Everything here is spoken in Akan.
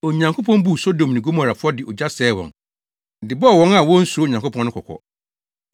Onyankopɔn buu Sodom ne Gomora fɔ de ogya sɛee wɔn, de bɔɔ wɔn a wonsuro Onyankopɔn no kɔkɔ.